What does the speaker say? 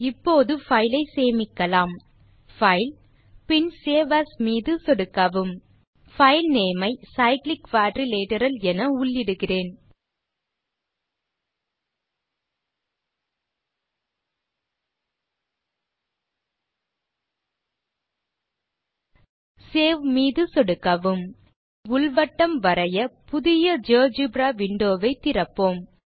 இப்போது பைல் ஐ சேமிக்கலாம் பைல் பின் சேவ் ஏஎஸ் மீது சொடுக்கவும் பைல் நேம் ஐ cyclic quadrilateral என உள்ளிடுகிறேன் சேவ் மீது சொடுக்கவும் உள் வட்டம் வரைய புதிய ஜியோஜெப்ரா விண்டோ வை திறப்போம்